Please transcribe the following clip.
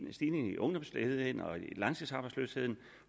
en stigning i ungdomsledigheden og i langtidsarbejdsløsheden